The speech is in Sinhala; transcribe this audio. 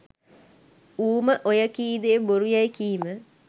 ඌම ඔය කී දේ බොරු යැයි කීම